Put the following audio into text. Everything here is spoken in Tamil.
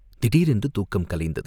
திடீரென்று தூக்கம் கலைந்தது.